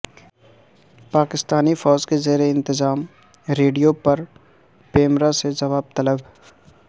پاکستانی فوج کے زیر انتظام ریڈیو پر پیمرا سے جواب طلب